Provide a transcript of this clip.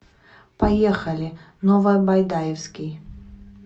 поехали новобайдаевский